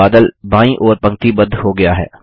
बादल बायीं ओर पंक्तिबद्ध हो गया है